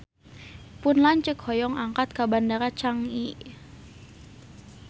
Pun lanceuk hoyong angkat ka Bandara Changi